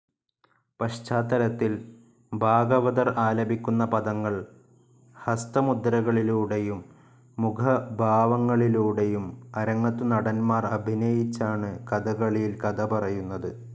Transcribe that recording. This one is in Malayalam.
പശ്ചാത്തലത്തിൽ ഭാഗവതർ ആലപിക്കുന്ന പദങ്ങൾ ഹസ്തമുദ്രകളിലൂടെയും, മുഖഭാവങ്ങളിലൂടെയും അരങ്ങത്തു നടന്മാർ അഭിനയിച്ചാണ് കഥകളിയിൽ കഥ പറയുന്നത്.